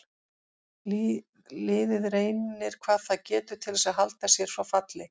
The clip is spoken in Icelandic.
Liðið reynir hvað það getur til þess að halda sér frá falli.